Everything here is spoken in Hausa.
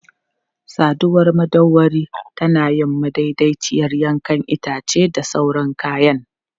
Saduwar madauwari tana yin madaidaiciyar yanke itace da sauran kayan.